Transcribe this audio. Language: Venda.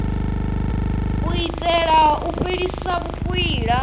u itela u fhelisa vhukwila